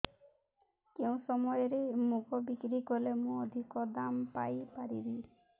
କେଉଁ ସମୟରେ ମୁଗ ବିକ୍ରି କଲେ ମୁଁ ଅଧିକ ଦାମ୍ ପାଇ ପାରିବି